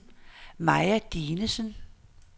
Maja Dinesen